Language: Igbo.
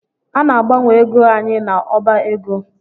A na-agbanwe ego anyị n’ọba ego